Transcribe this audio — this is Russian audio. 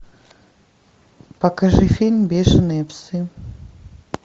покажи фильм бешеные псы